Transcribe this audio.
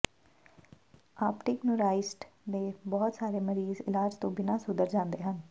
optic neuritis ਦੇ ਬਹੁਤ ਸਾਰੇ ਮਰੀਜ਼ ਇਲਾਜ ਤੋਂ ਬਿਨਾਂ ਸੁਧਰ ਜਾਂਦੇ ਹਨ